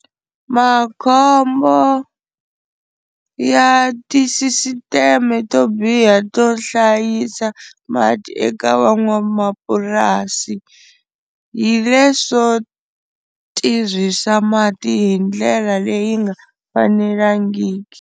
Makhombo ya tisisiteme to biha to hlayisa mati eka van'wamapurasi hi leswo tirhisa mati hi ndlela leyi nga fanelangiki.